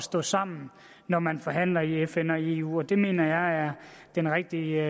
stå sammen når man forhandler i fn og i eu det mener jeg er den rigtige